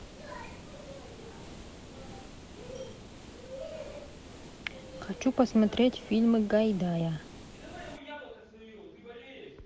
хочу посмотреть фильмы гайдая